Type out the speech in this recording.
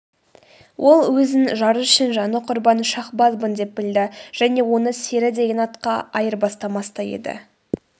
ол өзін жары үшін жаны құрбан шаһбазбын деп білді және оны сері деген атаққа айырбастамас та еді